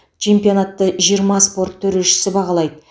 чемпионатты жиырма спорт төрешісі бағалайды